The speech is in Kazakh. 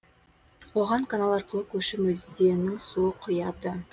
оған канал арқылы көшім өзеннің суы құяды